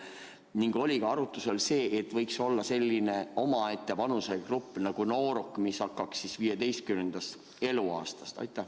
Ning kas oli arutusel see, et võiks olla selline omaette vanusegrupp nagu "noorukid", mis algaks 15. eluaastast?